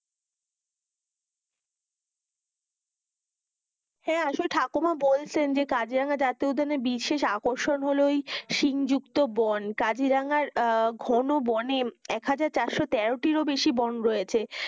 হেঁ, আসলে ঠাকুমা বলছেন যে কাজিরাঙা জাতীয় উদ্যানে বিশেষ আকর্ষণ হলো ওই সিংহ যুক্ত বন, কাজিরাঙার ঘনো বনে একহাজার চারশো তেরোটির ও বেশি বং রয়েছে,